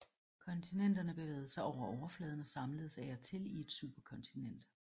Kontinenterne bevægede sig over overfladen og samledes af og til i et superkontinent